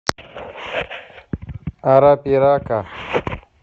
арапирака